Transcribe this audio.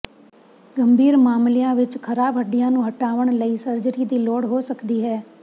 ਗੰਭੀਰ ਮਾਮਲਿਆਂ ਵਿਚ ਖਰਾਬ ਹੱਡੀਆਂ ਨੂੰ ਹਟਾਉਣ ਲਈ ਸਰਜਰੀ ਦੀ ਲੋੜ ਹੋ ਸਕਦੀ ਹੈ